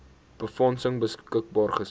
befondsing beskikbaar gestel